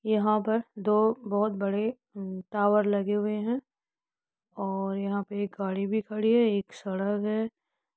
यहाँ पर दो बहुत बड़े टावर लगे हुए हैं और यहाँ पे एक गाड़ी भी खड़ी है एक सड़क है।